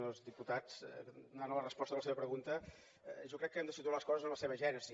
senyor diputat anant a la resposta de la seva pregunta jo crec que hem de situar les coses en la seva gènesi